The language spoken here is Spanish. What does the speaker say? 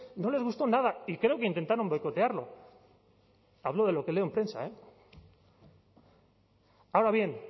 no les gustó nada y creo que intentaron boicotearlo hablo de lo que leo en prensa eh ahora bien